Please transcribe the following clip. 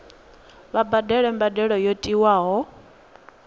vha badele mbadelo yo tiwaho